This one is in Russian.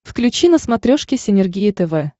включи на смотрешке синергия тв